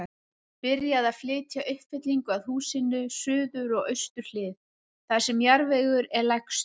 Byrjað að flytja uppfyllingu að húsinu, suður og austur hlið, þar sem jarðvegur er lægstur.